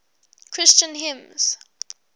christian hymns